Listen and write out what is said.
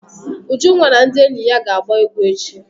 Ujunwa na ndị enyi ya ga agba egwu echi.